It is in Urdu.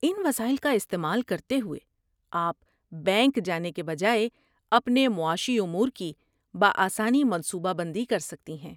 ان وسائل کا استعمال کرتے ہوئے، آپ، بینک جانے کے بجائے، اپنے معاشی امور کی بآسانی منصوبہ بندی کر سکتی ہیں۔